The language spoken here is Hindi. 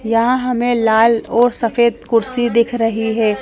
यहाँ हमें लाल और सफेद कुर्सी दिख रही है।